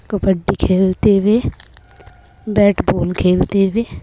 कबड्डी खेलते हुए bat ball खेलते हुए--